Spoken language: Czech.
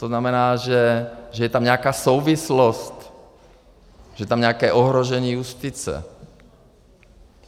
To znamená, že je tam nějaká souvislost, že je tam nějaké ohrožení justice.